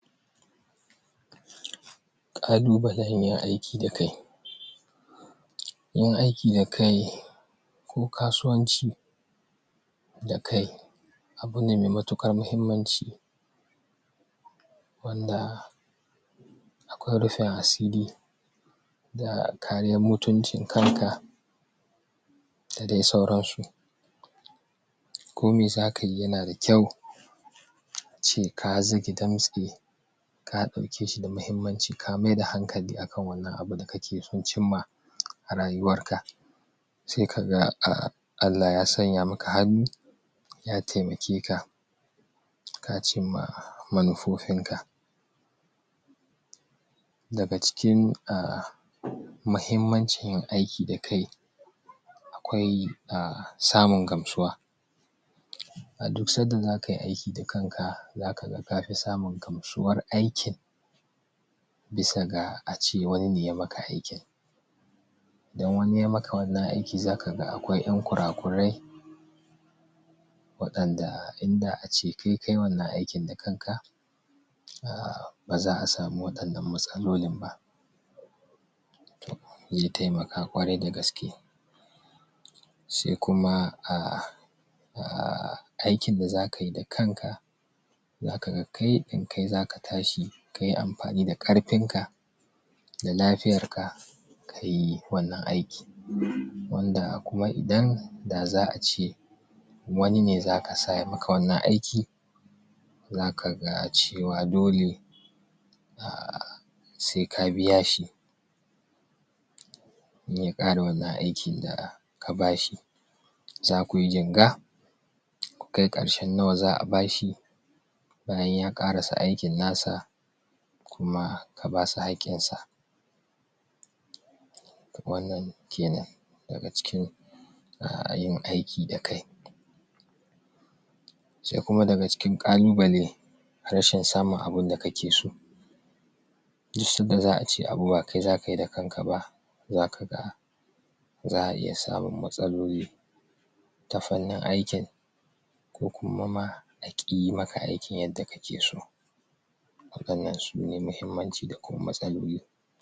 ƙalubalen yin aiki da kai yin aiki da kai ko kasuwanci da kai abu ne me matuƙar muhimmanci wandaa akwai rufin asiri da kariyam mutuncin kanka da dai sauransu ko mi zaka yi yana da kyau ace ka zage damtse ka ɗauke shi da muhimmanci ka maida hankali a kan wannan abu da kake son cimma a rayuwarka se kaga Allah ya sanya maka hannu ya temake ka ka cimmaa manufofin ka daga cikin mahimmancin yin aiki da kai akwai samun gamsuwa a duk sanda zaka yi aiki da kanka zaka ga kafi samun gamsuwar aikin bisa ga ace wani ne ya maka aikin idan wani ya maka wannan aiki zaka ga akwai en kurakurai waɗanda inda ace kai kayi wannan aikin da kanka ba za'a samu waɗannan matsalolin ba ze temaka ƙwarai da gaske se kumaa aikin da zaka yi da kanka zaka ga kai ɗin kai zaka tashi kayi amfani da ƙarfinka da lafiyar ka kayi wannan aiki wandaa kuma idan da za'a ce wani ne zaka sa ya maka wannan aiki zaka ga cewa dole se ka biya shi in ya ƙare wannan aikin da ka ba shi zakuyi jinga ku kai ƙarshen nawa za'a ba shi bayan ya ƙarasa aikin nasa kuma ka basa haƙƙin sa wannan kenan daga cikin yin aiki da kai se kuma daga cikin ƙalubale rashin samun abunda kake so duk sadda za'a ce abu ba kai zaka yi da kanka ba zaka ga za'a iya samun matsaloli ta fannin aikin ko kuma ma a ƙi yi maka aikin yadda kake so waɗannan sune mahimmanci da kuma matsaloli